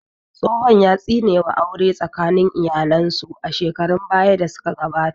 Tsohon ya tsine wa aure tsakanin iyalen su a shekarun baya da su ka gabata